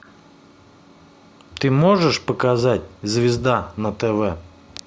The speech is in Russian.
ты можешь показать звезда на тв